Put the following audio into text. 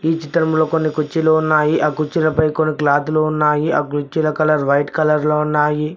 ఈ చిత్రంలో కొన్ని కుర్చీలో ఉన్నాయి ఆ కుర్చీలపై కొన్ని క్లాతులు ఉన్నాయి ఆ కుర్చీలో కలర్ వైట్ కలర్ లో ఉన్నాయి.